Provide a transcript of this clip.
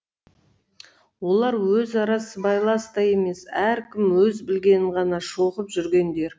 олар өзара сыбайлас та емес әркім өз білгенін ғана шоқып жүргендер